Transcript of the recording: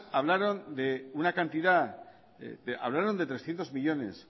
hablaron de trescientos millónes